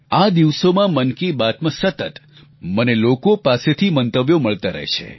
આ દિવસોમાં મન કી બાતમાં સતત મને લોકો પાસેથી મંતવ્યો મળતા રહે છે